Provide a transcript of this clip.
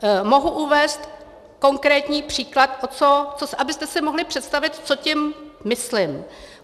Mohu uvést konkrétní příklad, abyste si mohli představit, co tím myslím.